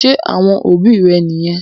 Ṣé àwọn òbí rẹ̀ niyẹn?